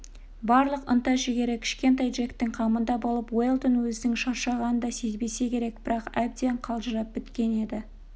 барлық ынта-жігері кішкентай джектің қамында болып уэлдон өзінің шаршағанын да сезбесе керек бірақ әбден қалжырап біткен еді